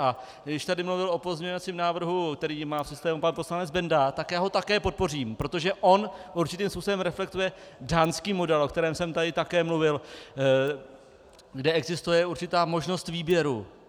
A když tady mluvil o pozměňovacím návrhu, který má v systému pan poslanec Benda, tak já ho také podpořím, protože on určitým způsobem reflektuje dánský model, o kterém jsem tady také mluvil, kde existuje určitá možnost výběru.